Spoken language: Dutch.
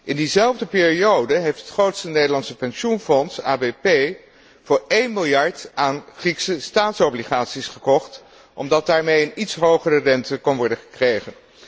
In diezelfde periode heeft het grootste Nederlandse pensioenfonds ABP voor 1 miljard aan Griekse staatsobligaties gekocht omdat daarmee een iets hogere rente kon worden gekregen.